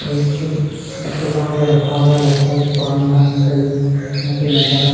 ये कौन छुपा के रखा हुआ है लगता है क्वॉरेंटाइन है यहाँ पर नज़ारा --